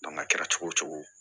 a kɛra cogo o cogo